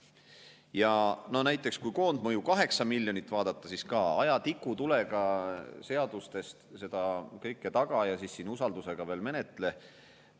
Ja näiteks, kui koondmõju 8 miljonit vaadata, siis aja tikutulega seadustest seda kõike taga ja siis veel usaldusega menetle ka.